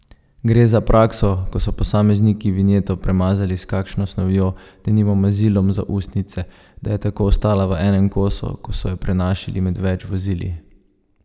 Gre za prakso, ko so posamezniki vinjeto premazali s kakšno snovjo, denimo mazilom za ustnice, da je tako ostala v enem kosu, ko so jo prenašali med več vozili.